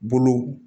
Bolow